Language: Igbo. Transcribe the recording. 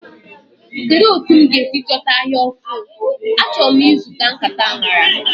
Kedu otu m ga-esi chọta ahịa ofu. achọrọ m e suta nkata anara.